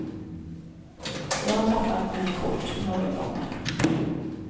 Jag har tappat mina kort några gånger.